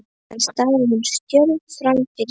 Síðan starir hún stjörf fram fyrir sig.